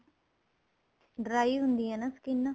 dry ਹੁੰਦੀ ਏ ਨਾ skin